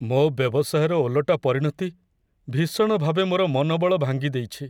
ମୋ ବ୍ୟବସାୟର ଓଲଟା ପରିଣତି ଭୀଷଣ ଭାବେ ମୋର ମନୋବଳ ଭାଙ୍ଗିଦେଇଛି।